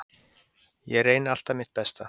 Ég reyni alltaf mitt besta.